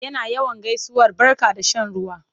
Suna yawan gaisuwar barka da shan ruwa.